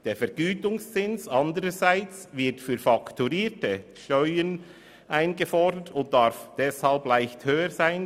Der Vergütungszins wird demgegenüber für Steuern eingefordert und darf deshalb leicht höher sein.